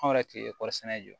Anw yɛrɛ tun ye kɔri sɛnɛ jɔ